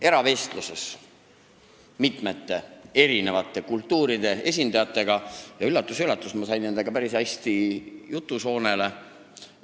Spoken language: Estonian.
Eravestluses nende eri kultuuride esindajatega – üllatus-üllatus, ma sain nendega päris hästi jutusoonele!